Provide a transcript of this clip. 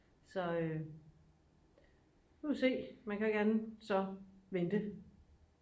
så nu må vi se man kan jo ikke andet end så vente